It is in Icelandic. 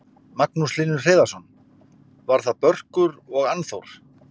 Magnús Hlynur Hreiðarsson: Var það Börkur og Annþór?